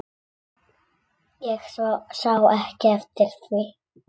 Ég sá ekki eftir því.